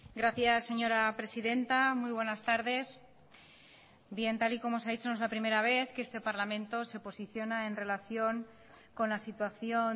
gracias señora presidenta muy buenas tardes tal y como se ha dicho no es la primera vez que este parlamento se posiciona en relación con la situación